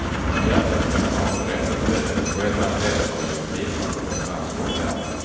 Hjärtat skall man ha på det rätta stället och ett och annat äss har väl genom tiderna plockats fram ur rockärmen.